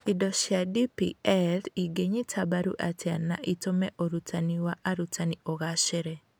Indo cia DPL ingĩnyita mbaru atĩa na itũme ũrutani wa arutani ũgacĩre?